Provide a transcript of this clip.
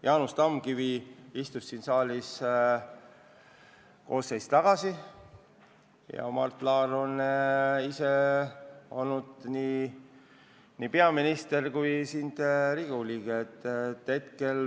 Jaanus Tamkivi istus siin saalis üle-eelmises koosseisus ja Mart Laar on ise olnud nii peaminister kui Riigikogu liige.